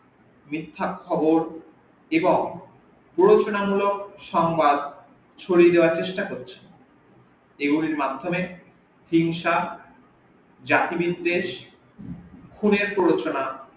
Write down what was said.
মিথ্যা খবর এবং প্রয়োজনীয় মুলক সংবাদ সরিয়ে দেওয়ার চেষ্টা করছে এগুলির মাধ্যমে হিংসা, জাতিবিদ্বেষ , খুনের প্রলচনা